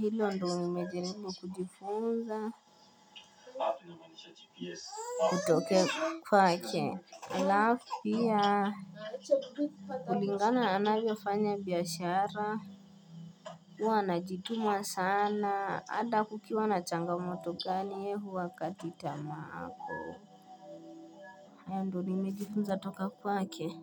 Hilo ndo nimejaribu kujifunza kutokea kwake. Alafu Pia. Kulingana anavyofanya biashara. Huwa najituma sana. Hata kukiwa na changamoto gani yeye huwa hakati tamaa ako. Hayo ndo nimejifuza toka kwake.